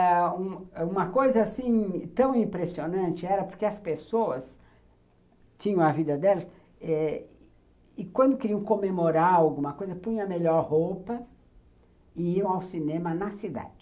E uma coisa tão impressionante era porque as pessoas tinham a vida delas e, quando queriam comemorar alguma coisa, punham a melhor roupa e iam ao cinema na cidade.